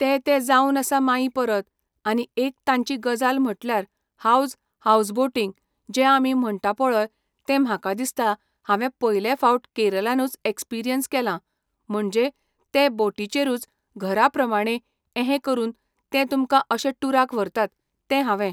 ते ते जावन आसा माई परत आनी एक तांची गजाल म्हटल्यार हावज हावजबोटींग जें आमी म्हणटा पळय तें म्हाका दिसता हांवें पयले फावट केरलानूच एक्सपिरियन्स केलां, म्हणजे ते बोटीचेरूच घरा प्रमाणे एहें करून ते तुमकां अशे टुराक व्हरतात, तें हांवें